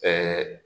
Ɛɛ